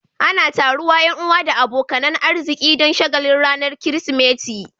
Ana taruwa Yan uwa da abokanan arziki Dan shagalin ranar kirismeti